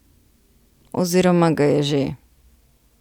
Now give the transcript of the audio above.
Oziroma ga je že.